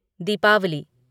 Deepawali